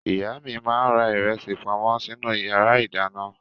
Ìyá mi máa ń ra ìrẹsì pamọ́ sínú ìyàrá-ìdáná.